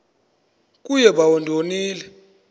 kuye bawo ndonile